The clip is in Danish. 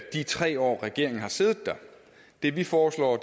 de tre år regeringen har siddet der det vi foreslår